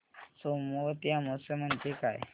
सोमवती अमावस्या म्हणजे काय